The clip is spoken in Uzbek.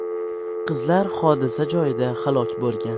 Qizlar hodisa joyida halok bo‘lgan.